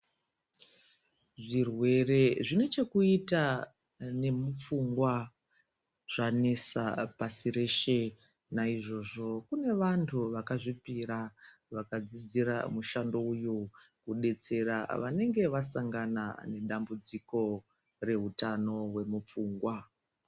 Zvirwere zvine chekuita nemupfungwa zvanesa pasi reshe. Naizvozvo kune vantu vakazvipira vakadzidzira mushando uyu, kudetsera vanenge vasangana nedambudziko rehutano hwemupfungwa.